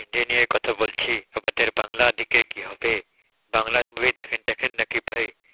হিন্দি নিয়ে কথা বলছি আমাদের বাংলা দিকের কি হবে? বাংলা movie দেখেন টেকেন নাকি ভাই